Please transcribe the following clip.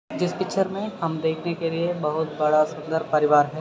जिस पिक्चर मे हम देखने के लिए बहुत बड़ा सुंदर परिवार है।